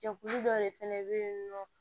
Jɛkulu dɔ de fɛnɛ be yen nɔ